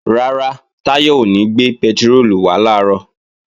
Rárá, Táyọ̀ ò ní gbé pẹtiróòlù wá làárọ̀